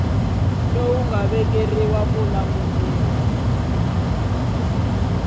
lowu nga vekeriwa ku langutana